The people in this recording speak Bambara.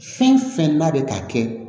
Fɛn fɛn n'a bɛ ka kɛ